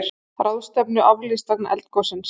Ráðstefnu aflýst vegna eldgossins